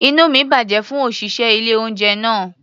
Inú mi bàjẹ́ fún òṣìṣẹ́ ilé-oúnjẹ náà.